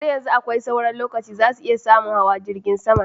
Har yanzu akwai sauran lokaci! Zasu iya samun hawa jirgin saman.